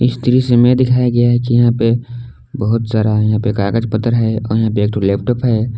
इस दृश्य में दिखाया गया है कि यहां पे बहुत सारा यहां कागज पत्तर है और यहां पे एक ठो लैपटॉप है।